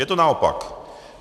Je to naopak.